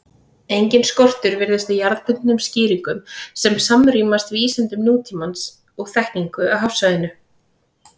Enginn skortur virðist á jarðbundnum skýringum sem samrýmast vísindum nútímans og þekkingu á hafsvæðinu.